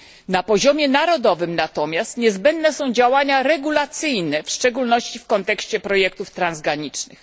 Na poziomie narodowym natomiast niezbędne są działania regulacyjne, w szczególności w kontekście projektów transgranicznych.